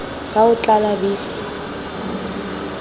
fa o tla o labile